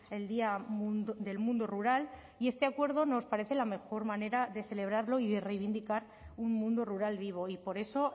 el día del mundo rural y este acuerdo nos parece la mejor manera de celebrarlo y de reivindicar un mundo rural vivo y por eso